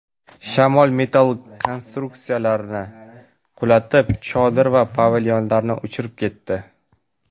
Shamol metall konstruksiyalarni qulatib, chodir va pavilyonlarni uchirib ketdi.